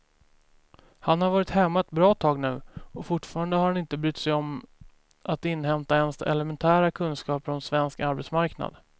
Han har varit hemma ett bra tag nu och fortfarande har han inte brytt sig om att inhämta ens elementära kunskaper om svensk arbetsmarknad.